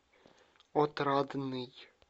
отрадный